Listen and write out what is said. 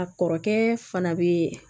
A kɔrɔkɛ fana bɛ